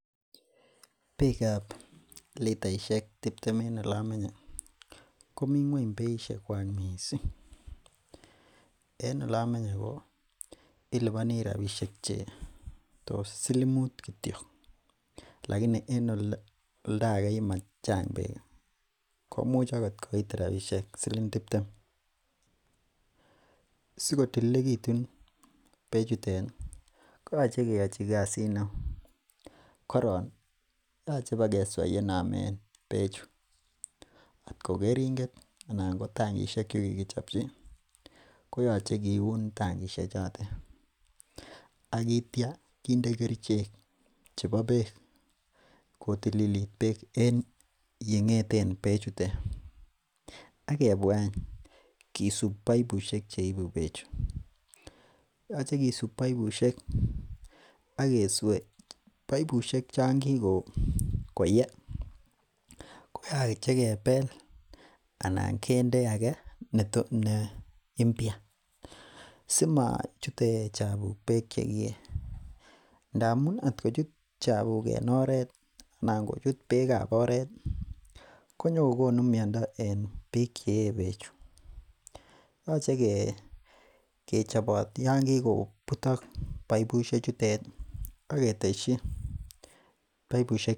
Beekab litaishek tiptem en olemenye ko mi ng'uany missing, mi ng'uany beisiekuak missing, en olemenye ko ilubani rabisiek silimut kityo laini en oldo age yemo Chang beek ko komuch agot koit rapishek silng tiptem. Sikotililekitun beek chutet koyoche keyochi kasiit neo. Koron koyoche ipbokeswa yenomen beechu atko keringet anan ko tangishek che kikichopchi koyoche kiuun tangishek choto ak iitia kinde kerichek chebo beek kotililit beek en yeng'eten bechuton. Agebua eny kisub boibusiek cheibu bechu yoche kisub boibusiek akesue boibusiek cho kikoye koyoche kebel anan kinde age ne imbia simochute chabuk beek chegie ndamuun atkochut chabuk en oret anan kochut beekab oret konyogo konu miando en bik chee bechu yoche kechobot Yoon kikobutok aketesyi boibusiek cho kikoye.